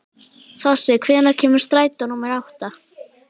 Þossi, hvenær kemur strætó númer átta?